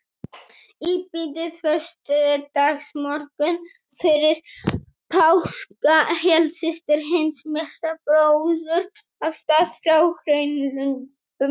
Í bítið föstudagsmorgunn fyrir páska hélt systir hins myrta bróður af stað frá Hraunlöndum.